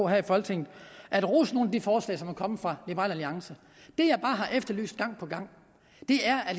af her i folketinget at rose nogle af de forslag som er kommet fra liberal alliance det jeg bare har efterlyst gang på gang er at